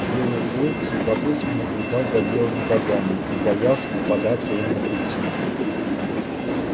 белый клык с любопытством наблюдал за белыми богами но боялся попадаться им на пути